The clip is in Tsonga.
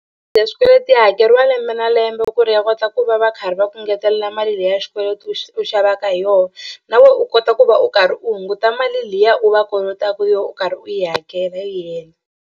Ya swikweleti ya hakeriwa lembe na lembe ku ri ya kota ku va va karhi va ku ngetelela mali leyi ya xikweleti u u xavaka hi yona na wena u kota ku va u karhi u hunguta mali liya u va kolotaka yona u karhi u yi hakela yi hela.